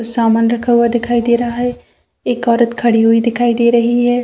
समान रखा हुआ दिखाई दे रहा है एक औरत खड़ी हुई दिखाई दे रही है।